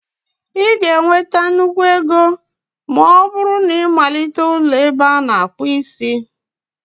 Ị ga-enweta nnukwu ego ma ọ bụrụ na ịmalite ụlọ ebe ana-akpu isi